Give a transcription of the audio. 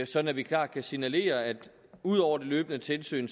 sådan at vi klart kan signalere at vi udover det løbende tilsyn